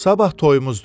Sabah toyumuzdur.